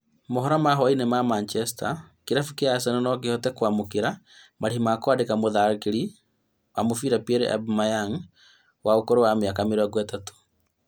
Mohoro ma hwai-inĩ ma Manchester, kĩrabu kĩa Arsenal nokihote kwamũkĩra marĩhi ma kwandĩka mũtharĩkĩri wa mũbĩra Pierre-Emerick Aubameyang wa ũkũrũ wa mĩaka mĩrongo ĩtatũ